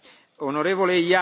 Herr Präsident!